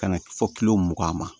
Ka na fɔ mugan ma